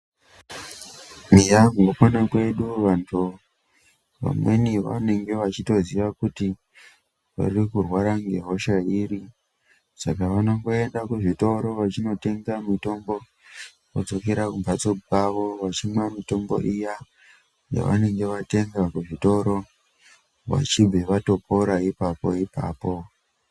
Eya mukupona kwedu vantu , vamweni vanenge vachitoziya kuti vari kurwara ngehosha iri saka vanongoenda kuzvitoro vachinotenga mitombo vodzokera kumhatso kwavo vachimwa mitombo iya yavanenge vatenga kuzvitoro vachibve vatopora ipapo ipapo.